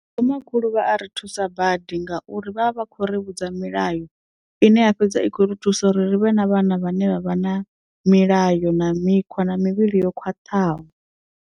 Vho makhulu vha a ri thusa badi ngauri vha vha vha khou ri vhudza milayo ine ya fhedza i khou ri thusa uri ri vhe na vhana vhane vha vha na milayo na mikhwa na mivhili yo khwaṱhaho.